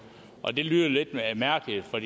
og det lyder lidt mærkeligt for